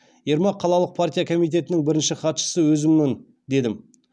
ермак қалалық партия комитетінің бірінші хатшысы өзіммін дедім